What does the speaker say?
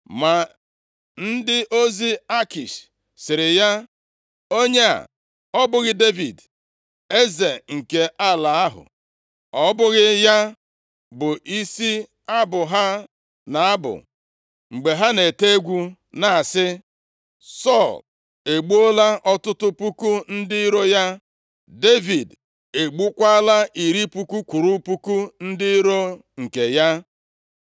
Ma ndị ozi Akish sịrị ya, “Onye a ọ bụghị Devid, eze nke ala ahụ? Ọ bụghị ya bụ isi abụ ha na-abụ mgbe ha na-ete egwu na-asị: “ ‘Sọl egbuola ọtụtụ puku ndị iro ya, Devid egbukwaala iri puku kwụrụ puku ndị iro nke ya’?”